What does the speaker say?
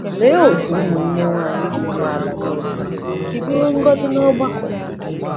Lee otú ụmụnne nwanyị dị umeala n’obi si bụrụ ngọzi n’ọgbakọ!